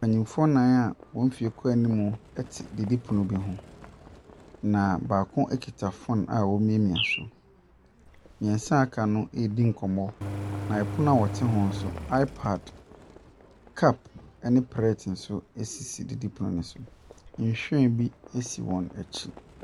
Mpanimfo nnan a wɔn mfie kɔ anim te didipono bi ho, na baako kita phone a ɛremiamia do. Mmiɛnsa aka no ɛredi nkɔmmɔ, na pono wɔte ho no nso iPad, cup ne prɛɛte nso sisi didipono ne so. Nhyiren bi si wɔn akyi.